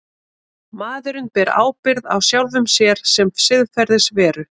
Maðurinn ber ábyrgð á sjálfum sér sem siðferðisveru.